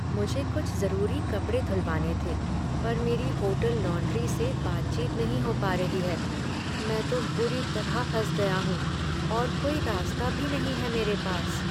मुझे कुछ जरूरी कपड़े धुलवाने थे पर मेरी होटल लॉन्ड्री से बातचीत नहीं हो पा रही है। मैं तो बुरी तरह फंस गया हूँ और कोई रास्ता भी नहीं हैं मेरे पास।